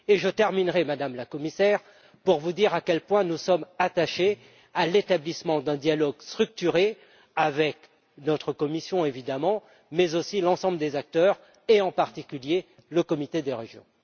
Et je terminerai, Madame la Commissaire, en vous disant à quel point nous sommes attachés à l'établissement d'un dialogue structuré avec notre commission, évidemment, mais aussi avec l'ensemble des acteurs, et en particulier le Comité des régions.